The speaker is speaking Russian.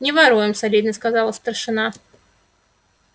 не воруем солидно сказал старшина